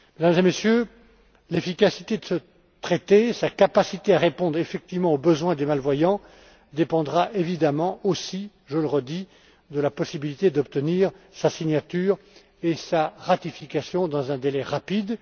Mesdames et Messieurs, l'efficacité de ce traité, sa capacité à répondre, effectivement, aux besoins des malvoyants dépendront évidemment aussi, je le redis, de la possibilité d'obtenir sa signature et sa ratification dans un délai rapide.